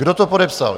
Kdo to podepsal?